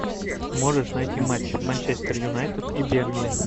можешь найти матч манчестер юнайтед и бернли